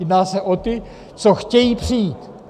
Jedná se o ty, co chtějí přijít.